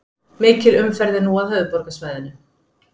Mikil umferð er nú að höfuðborgarsvæðinu